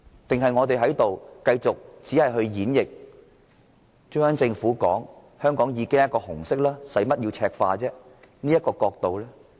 抑或應該繼續演繹中央政府指香港"本來就是紅色、何須赤化"的說法？